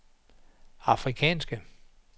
afrikanske